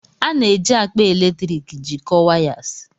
A na-eji akpa eletrik jikọọ wires.